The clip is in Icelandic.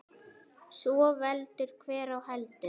Svo veldur hver á heldur.